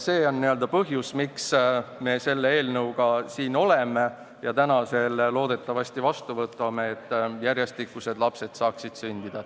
See on põhjus, miks me selle eelnõuga siin oleme ja täna selle loodetavasti vastu võtame: et järjestikused lapsed saaksid sündida.